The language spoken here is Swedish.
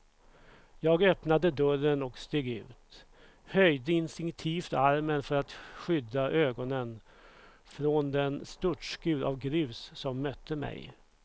Jag öppnade dörren och steg ut, höjde instinktivt armen för att skydda ögonen från den störtskur av grus som mötte mig.